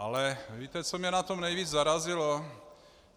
Ale víte, co mě na tom nejvíc zarazilo?